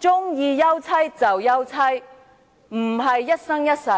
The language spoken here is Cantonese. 歡休妻便休妻，並非一生一世。